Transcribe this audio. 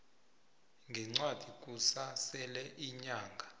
ngencwadi kusasele iinyanga